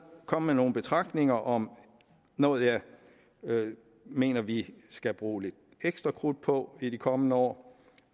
komme med nogle betragtninger om noget jeg mener vi skal bruge lidt ekstra krudt på i de kommende år